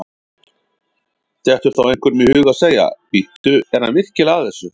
Dettur þá einhverjum í hug að segja: Bíddu, er hann virkilega að þessu?